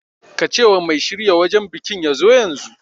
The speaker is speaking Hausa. Ka ce wa mai shirya wajan bikin ya zo yanzu